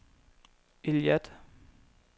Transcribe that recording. Eilat